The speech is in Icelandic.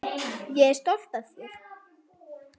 Ég er stolt af þér.